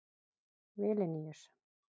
Vilníus